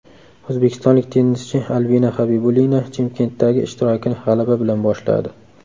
O‘zbekistonlik tennischi Albina Xabibulina Chimkentdagi ishtirokini g‘alaba bilan boshladi.